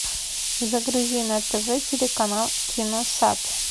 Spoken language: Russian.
загрузи на тв телеканал киносад